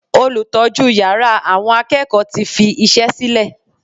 Olùtọ́jú yàrá àwọn akẹ́kọ̀ọ́ tí fi iṣẹ́ sílè.